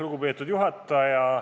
Lugupeetud juhataja!